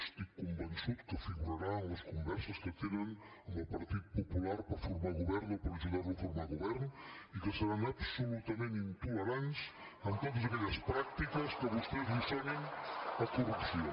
estic convençut que figurarà en les converses que tenen amb el partit popular per formar govern o per ajudarlo a formar govern i que seran absolutament intolerants amb totes aquelles pràctiques que a vostès els sonin a corrupció